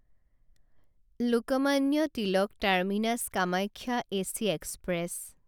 Lokmanya Tilak terminus Kamakhya AC express